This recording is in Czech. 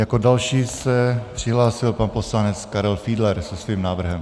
Jako další se přihlásil pan poslanec Karel Fiedler se svým návrhem.